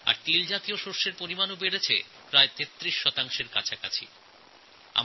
তৈলবীজের ক্ষেত্রে মোটামুটি ৩৩ শতাংশ বৃদ্ধি হয়েছে